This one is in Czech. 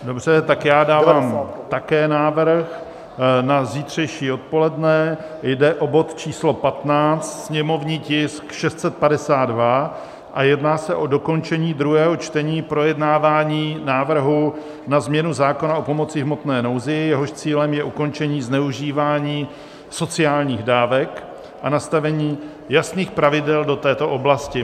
Dobře, tak já dávám také návrh na zítřejší odpoledne, jde o bod číslo 15, sněmovní tisk 652, jedná se o dokončení druhého čtení projednávání návrhu na změnu zákona o pomoci v hmotné nouzi, jehož cílem je ukončení zneužívání sociálních dávek a nastavení jasných pravidel do této oblasti.